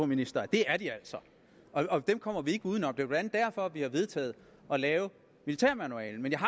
ministeren at det er de altså og at dem kommer vi ikke uden om det er blandt andet derfor vi har vedtaget at lave militærmanualen men jeg